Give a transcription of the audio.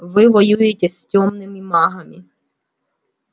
вы воюете с тёмными магами